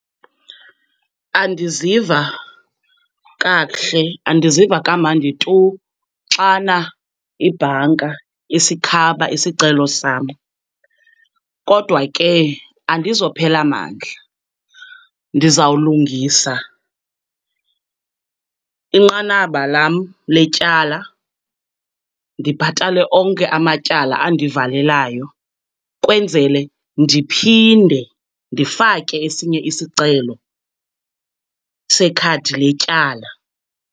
Andiziva kakuhle, andiziva kamnandi tu xana ibhanka isikhaba isicelo sam, kodwa ke andizophela mandla. Ndizawulungisa inqanaba lam letyala, ndibhatale onke amatyala andivalelayo kwenzele ndiphinde ndifake esinye isicelo sekhadi letyala.